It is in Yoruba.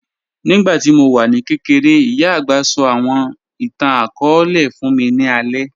Nígbàtí mó wà ní kẹ̀kẹ̀rẹ̀, ìyá agbá sọ̀ àwọn ìtàn-akọọlẹ̀ fún mí ní àlẹ̀